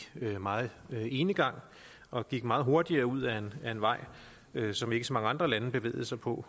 meget enegang og gik meget hurtigt ud ad en vej som ikke så mange andre lande bevægede sig på